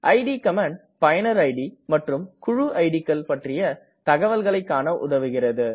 it command பயனர் id மற்றும் குழு இட் கள் பற்றிய தகவல்களை காண உதவுகிறது